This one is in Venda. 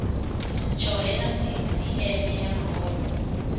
tshohe na sisieme ya mahoro